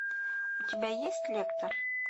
у тебя есть лектор